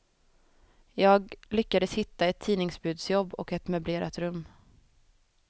Jag lyckades hitta ett tidningsbudsjobb och ett möblerat rum.